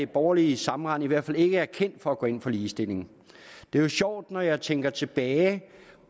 borgerlige sammenrend i hvert fald ikke er kendt for at gå ind for ligestilling det er jo sjovt når jeg ser tænker tilbage